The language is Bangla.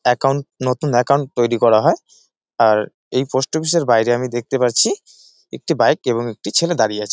একাউন্ট নতুন একাউন্ট তৈরী করা হয় আর এই পোস্ট অফিস -এর বাইরে আমি দেখতে পাচ্ছি একটি বাইক এবং একটি ছেলে দাড়িয়ে আছে।